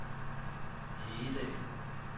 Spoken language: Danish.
Hegedal